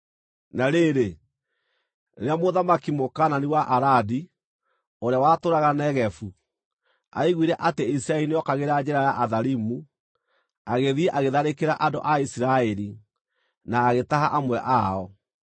Na rĩrĩ, rĩrĩa mũthamaki Mũkaanani wa Aradi, ũrĩa watũũraga Negevu, aiguire atĩ Isiraeli nĩokagĩra njĩra ya Atharimu, agĩthiĩ agĩtharĩkĩra andũ a Isiraeli, na agĩtaha amwe ao.